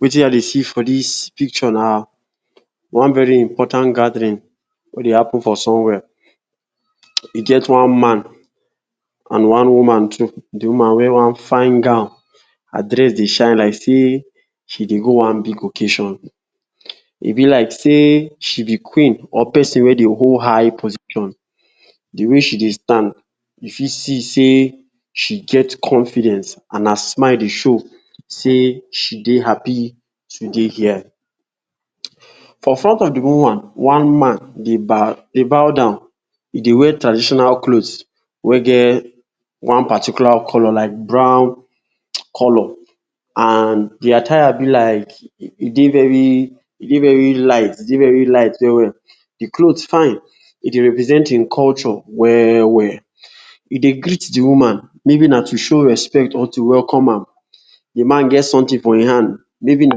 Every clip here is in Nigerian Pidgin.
Wetin I Dey see for dis picture na one very important gathering wey dey happen for somewhere, e get one man and one woman too, de woman wear one fine gown, her dress dey shine like sey she dey go one big occasion, e b like sey she b queen or person wey dey hold high position, de way she dey stand u fit see sey she get confidence and her smile dey show sey she dey happy to dey her, for front of de woman one man dey bow dey bow down, he dey wear traditional clothe wey get particular colour like brown colour and de attire b like, e dey very e dey very light e dey very light well well, de cloth fine e dey represent hin culture well well, he dey greet de woman, maybe na to show respect or to welcome am de man get something for hin hand, maybe na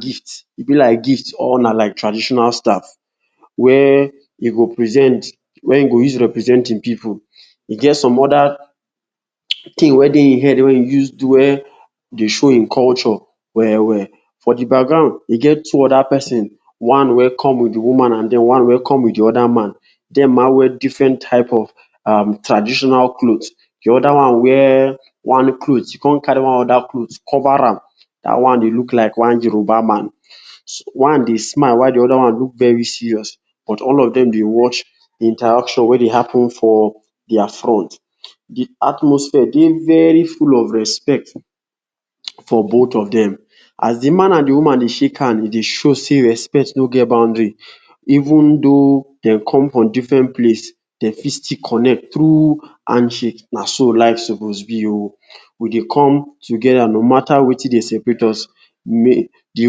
gift, e b like gift or na like traditional staff wey he go present, wey he go use represent hin pipu, e get some oda thing wey dey hin head wey he use draw dey show hin culture well we’ll, for de background e get two oda persin one wey come with de woman and de oda one come with de man, dem ma wear different type of traditional cloth, de oda one wey one cloth, he con carry one oda cloth cover am, dat one dey look like one Yoruba man, one dey smile while de oda one dey look very serious but all of dem dey watch de interaction wey dey happen for dia front, de atmosphere dey very full of respect for both of dem, as de man and de woman dey shake hand e dey show sey respect no get boundary, even tho dem come from different place dem fit still connect through handshake na so life suppose be oh, we dey come together no matter Wetin dey separate us, de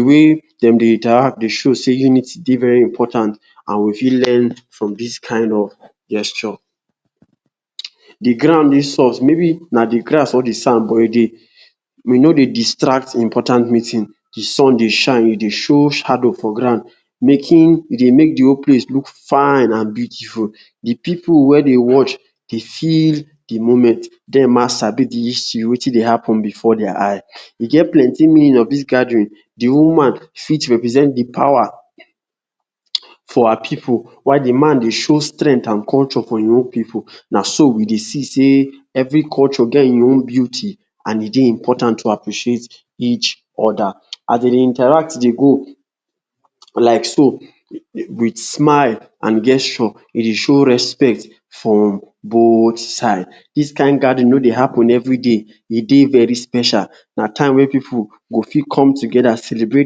wey dem dey interact dey show dey unity dey very important and we fit learn from dis kind of gesture. De ground dey soft, maybe na de ground wey dey soft but e no dey distract de important meeting, de sun dey shine e dey show shadow for ground, making, e dey make de whole place look fine and beautiful, de pipu wey dey watch dey feel de moment, dem ma sabi de history Wetin dey happen before dia eye, e get plenty meaning of dis gathering, de woman for represent de power for her pipu while de man dey show strength and culture for hin own pipu naso we Dey see sey every culture get hin own beauty, and e dey important to appreciate each oda, as dem dey interact dey go like so with smile and gesture e dey show respect for both side, dis kind gathering no Dey happen everyday, e dey very special na time wey pipu go fit come together celebrate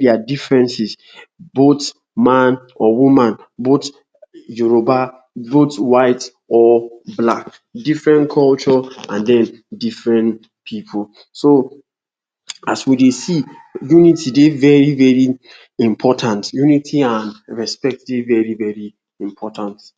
dia differences both man or woman, both Yoruba, both white or black, different culture and den different pipu, so as we dey see unity dey very very important, unity and respect dey very very important.